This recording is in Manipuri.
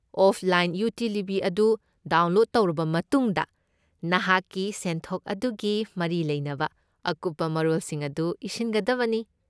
ꯑꯣꯐꯂꯥꯏꯟ ꯌꯨꯇꯤꯂꯤꯇꯤ ꯑꯗꯨ ꯗꯥꯎꯟꯂꯣꯗ ꯇꯧꯔꯕ ꯃꯇꯨꯡꯗ, ꯅꯍꯥꯛꯀꯤ ꯁꯦꯟꯊꯣꯛ ꯑꯗꯨꯒꯤ ꯃꯔꯤ ꯂꯩꯅꯕ ꯑꯀꯨꯞꯄ ꯃꯔꯣꯜꯁꯤꯡ ꯑꯗꯨ ꯏꯁꯤꯟꯒꯗꯕꯅꯤ꯫